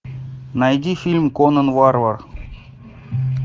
найди фильм конон варвар